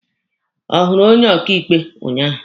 Ọ hụrụ onye ọkaịkpe ụnyaahụ?